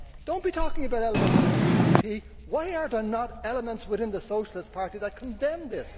Do not be talking about elements within the EPP, why are there not elements within the Socialist Party that condemn this?